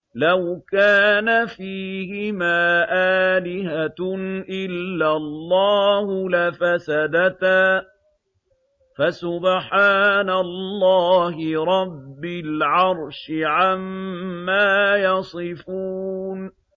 لَوْ كَانَ فِيهِمَا آلِهَةٌ إِلَّا اللَّهُ لَفَسَدَتَا ۚ فَسُبْحَانَ اللَّهِ رَبِّ الْعَرْشِ عَمَّا يَصِفُونَ